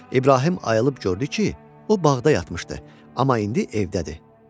İbrahim ayılıb gördü ki, o bağda yatmışdı, amma indi evdədir.